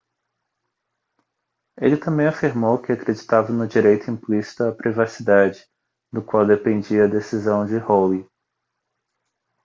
ele também afirmou que acreditava no direito implícito à privacidade do qual dependia a decisão de roe